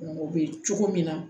O bɛ cogo min na